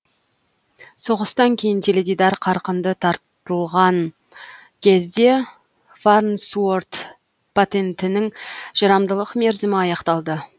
соғыстан кейін теледидар қарқынды таратылған кезде фарнсуорт патентінің жарамдылық мерзімі аяқталды